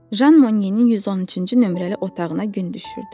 Jan Monyenin 113-cü nömrəli otağına gün düşürdü.